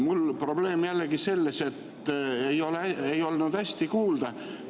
Mul on probleem jällegi selles, et ei olnud hästi kuulda.